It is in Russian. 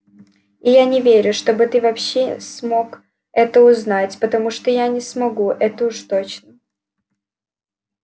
и я не верю чтобы ты вообще смог это узнать потому что я не смогу это уж точно